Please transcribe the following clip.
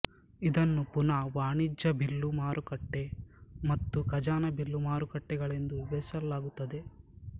ಇದನ್ನು ಪುನಃ ವಾಣಿಜ್ಯ ಬಿಲ್ಲು ಮಾರುಕಟ್ಟೆ ಮತ್ತು ಖಜಾನೆ ಬಿಲ್ಲು ಮಾರುಕಟ್ಟೆಗಳೆಂದು ವಿಭಾಜಿಸಲಾಗುತ್ತದೆ